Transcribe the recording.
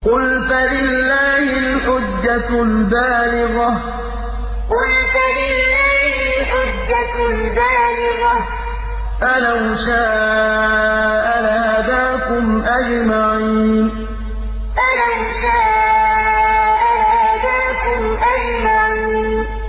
قُلْ فَلِلَّهِ الْحُجَّةُ الْبَالِغَةُ ۖ فَلَوْ شَاءَ لَهَدَاكُمْ أَجْمَعِينَ قُلْ فَلِلَّهِ الْحُجَّةُ الْبَالِغَةُ ۖ فَلَوْ شَاءَ لَهَدَاكُمْ أَجْمَعِينَ